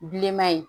Bilenman in